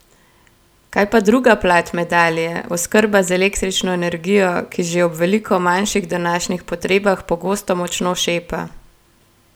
Kaj pa druga plat medalje, oskrba z električno energijo, ki že ob veliko manjših današnjih potrebah pogosto močno šepa?